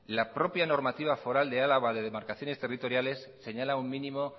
la propia normativa foral de álava de demarcaciones territoriales señala un mínimo